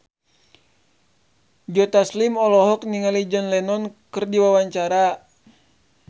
Joe Taslim olohok ningali John Lennon keur diwawancara